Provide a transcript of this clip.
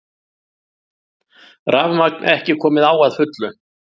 Rafmagn ekki komið á að fullu